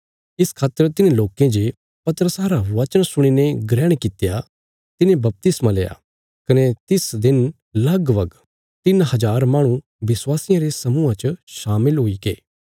इस खातर तिन्हें लोकें जे पतरसा रा वचन सुणीने ग्रहण कित्या तिने बपतिस्मा लेआ कने तिस दिन लगभग तिन्न हज़ार माहणु विश्वासियां रे समूहा च शामिल हुईगे